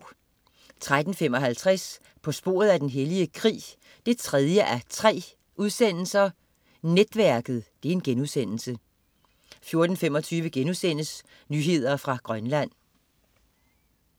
13.55 På sporet af den hellige krig 3:3. Netværket* 14.25 Nyheder fra Grønland*